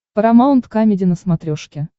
парамаунт камеди на смотрешке